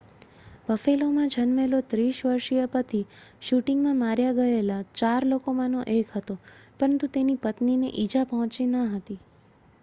બફેલોમાં જન્મેલો 30 વર્ષીય પતિ શૂટિંગમાં માર્યા ગયેલા ચાર લોકોમાંનો એક હતો પરંતુ તેની પત્નીને ઇજા પહોંચી ન હતી